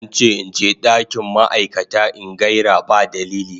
An ce in je dakin ma'aikata in gaira ba dalili.